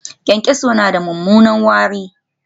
Cockroaches has bad smell